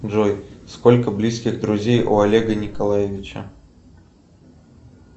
джой сколько близких друзей у олега николаевича